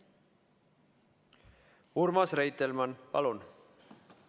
Urmas Reitelmann, palun!